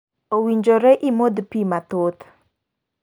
Owinjore imodh pii mathoth.